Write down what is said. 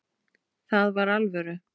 Það var alvöru.